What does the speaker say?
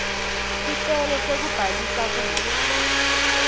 sicelo sekubhalisa kudla